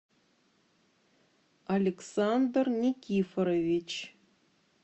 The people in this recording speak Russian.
александр никифорович